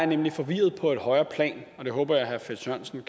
nemlig forvirret på et højere plan og jeg håber at herre finn sørensen